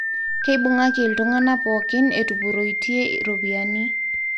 Keibungaki ltungana pookin etupuroite ropiyiani